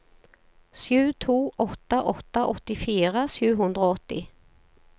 sju to åtte åtte åttifire sju hundre og åtti